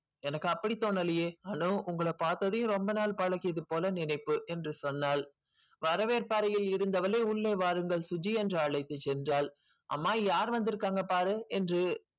எனக்கு அப்படி தோணலியே அனு உங்கள பார்த்ததும் ரொம்ப நாள் பழகியது போல நினைப்பு என்று சொன்னாள். வரவேற்பு அறையில் இருந்தவளே உள்ளே வாருங்கள் சுஜி என்று அழைத்து சென்றாள் அம்மா யார் வந்துருக்காங்க பாரு என்று